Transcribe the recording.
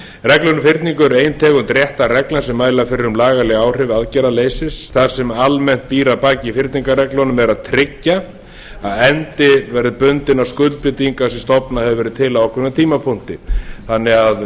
reglur um fyrningu er ein tegund réttarreglna sem mæla fyrir um lagaleg áhrif aðgerðaleysis það sem almennt býr að baki fyrningarreglunum er það að tryggja að endi verði bundinn á skuldbindingar sem stofnað hefur verið til á ákveðnum tímapunkti þannig að